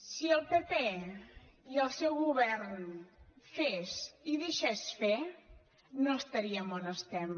si el pp i el seu govern fes i deixés fer no estaríem a on estem